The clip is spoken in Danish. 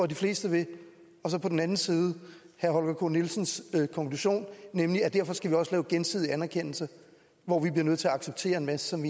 de fleste vil og så på den anden side herre holger k nielsens konklusion nemlig at derfor skal vi også lave gensidig anerkendelse hvor vi bliver nødt til at acceptere en masse som